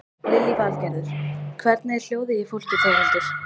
Lillý Valgerður: Hvernig er hljóðið í fólki Þórhildur?